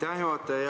Aitäh, juhataja!